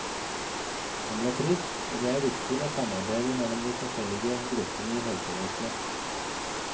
Han ble frisk, og det er viktig med samarbeide mellom de forskjellige gruppene i helsevesenet.